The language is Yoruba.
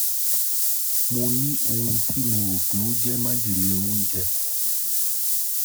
Mo ní ohun tí mo rò pé ó jẹ́ májèlé oúnjẹ